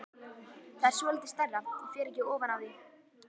Það er svolítið stærra, ég fer ekki ofan af því!